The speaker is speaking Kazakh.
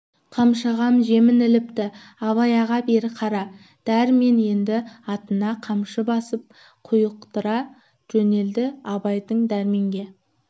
қаршығам жемін іліпті абай аға бері қара дәрмен енді атына қамшы басып құйықтыра жөнелді абайдың дәрменге